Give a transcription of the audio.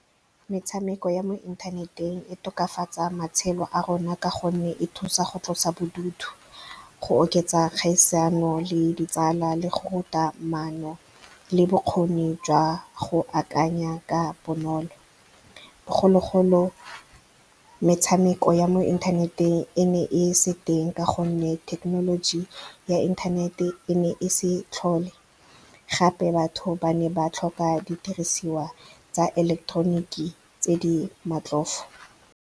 Metshameko ya mo inthaneteng e tokafatsa matshelo a rona ka gonne e thusa go tlosa bodutu, go oketsa kgaisano le ditsala, le go ruta maano le bokgoni jwa go akanya ka bonolo. Bogologolo metshameko ya mo inthaneteng e ne e se teng ka gonne thekenoloji ya inthanete e ne e se tlhole, gape batho ba ne ba tlhoka didiriswa tsa eleketeroniki tse di matlhofo.